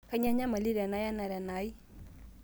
kainyoo enyamali tenaya enara enai